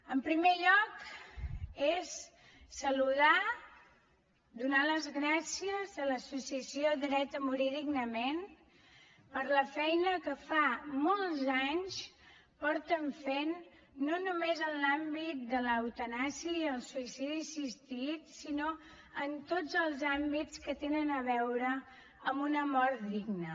en primer lloc és saludar donar les gràcies a l’associació dret a morir dignament per la feina que fa molts anys que fan no només en l’àmbit de l’eutanàsia i el suïcidi assistit sinó en tots els àmbits que tenen a veure amb una mort digna